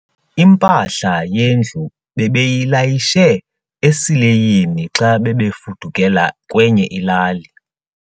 Impahla yendlu bebeyilayishe esileyini xa bebefudukela kwenye ilali.